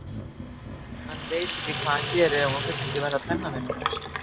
Hann veit ekki hvað hann gerir ef hún vill ekki verða pennavinur hans.